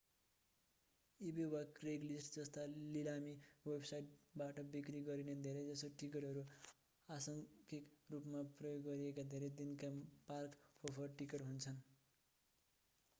इबे वा क्रेगलिस्ट जस्ता लिलामी वेबसाइटबाट बिक्री गरिने धेरैजसो टिकटहरू आंशिक रूपमा प्रयोग गरिएका धेरै दिनका पार्क-होपर टिकट हुन्छन्